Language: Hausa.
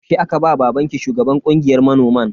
Yaushe aka ba babanki shugaban kungiyar manoman?